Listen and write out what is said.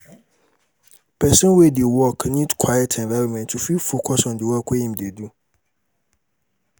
person wey de work need quite environment to fit focus on di work im de do